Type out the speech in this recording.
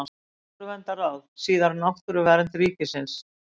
Náttúruverndarráð, síðar Náttúruvernd ríkisins.